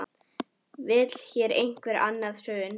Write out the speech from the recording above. Vill hér einhver annað hrun?